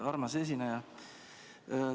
Armas esineja!